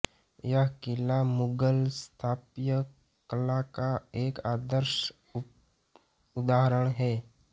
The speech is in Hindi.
यह किला मुगल स्थापत्य कला का एक आदर्श उदाहरण है